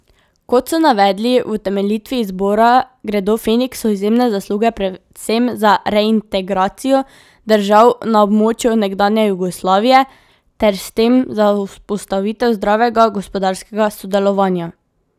Kot so navedli v utemeljitvi izbora, gredo Feniksu izjemne zasluge predvsem za reintegracijo držav na območju nekdanje Jugoslavije ter s tem za vzpostavitev zdravega gospodarskega sodelovanja.